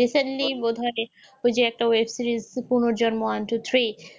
recently বোধহয় ওই যে একটা web series Punorjonmo one two three